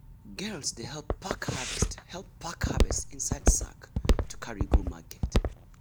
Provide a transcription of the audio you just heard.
girls dey help pack harvest help pack harvest inside sack to carry go market.